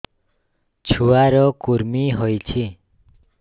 ଛୁଆ ର କୁରୁମି ହୋଇଛି